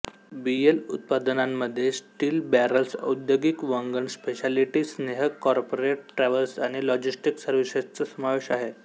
BL उत्पादनांमध्ये steel barrels औद्योगिक वंगण स्पेशॅलिटी स्नेहक कॉर्पोरेट ट्रॅव्हल आणि लॉजिस्टिक सर्व्हिसेसचा समावेश आहे